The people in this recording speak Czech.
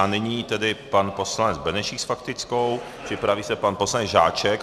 A nyní tedy pan poslanec Benešík s faktickou, připraví se pan poslanec Žáček.